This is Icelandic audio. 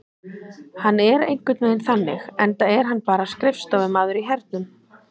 Hann er einhvern veginn þannig enda er hann bara skrifstofumaður í hernum.